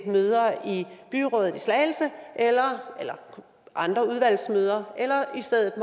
møder i byrådet i slagelse eller andre udvalgsmøder eller i stedet